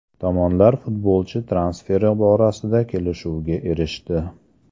Tomonlar futbolchi transferi borasida kelishuvga erishdi.